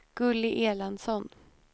Gulli Erlandsson